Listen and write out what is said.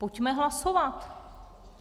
Pojďme hlasovat.